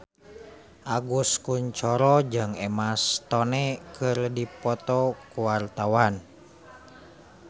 Agus Kuncoro jeung Emma Stone keur dipoto ku wartawan